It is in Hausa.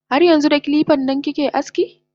Har yanxu da kilipan nan kake aski?